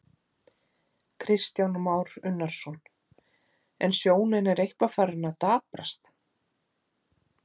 Kristján Már Unnarsson: En sjónin er eitthvað farin að daprast?